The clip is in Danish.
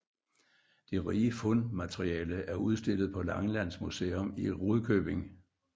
Det rige fundmateriale er udstillet på Langelands Museum i Rudkøbing